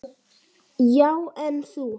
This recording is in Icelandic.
Já, en þú.